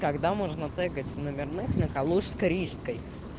тогда можно тегать номерных на калужско-рижской